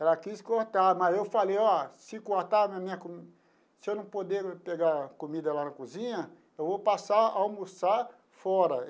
Ela quis cortar, mas eu falei, ó, se cortar a minha comida, se eu não poder pegar comida lá na cozinha, eu vou passar a almoçar fora.